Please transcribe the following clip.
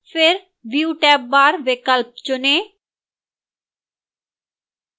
फिर view tab bar विकल्प चुनें